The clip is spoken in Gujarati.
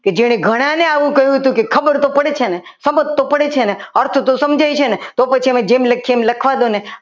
આ માન ભાઈ કે જે ઘણાને આવું કીધું હતું કે ખબર તો પડી જાય સમજ તો પડે છે ને અર્થ તો સમજાય છે ને તો પછી એમને એમ લખવા દો ને